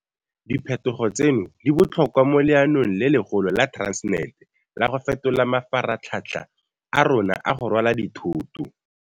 Diphetogo tseno di botlhokwa mo leanong le legolo la Transnet la go fetola mafaratlhatlha a rona a go rwala dithoto.